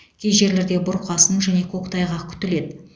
кей жерлерде бұрқасын және көктайғақ күтіледі